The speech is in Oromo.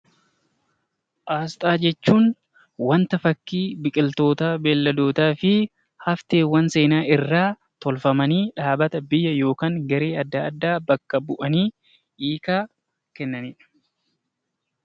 Asxaa jechuun wanta fakkii biqiltootaa, beeyladootaa fi hafteewwan seenaa irraa tolfamanii dhaabbata, biyya yookaan garee adda addaa bakka bu'anii hiikaa kennanidha.